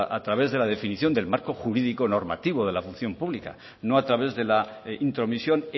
a través de la definición del marco jurídico normativo de la función pública no a través de la intromisión